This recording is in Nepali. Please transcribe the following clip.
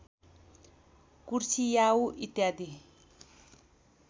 कुर्सियाउँ इत्यादि